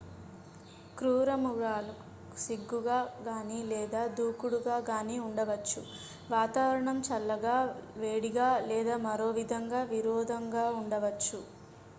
క్రూరమృగాలు సిగ్గుగా గానీ లేదా దూడుకుగా గానీ ఉండవచ్చు వాతావరణం చల్లగా వేడిగా లేదా మరోవిధంగా విరోధంగా ఉండవచ్చు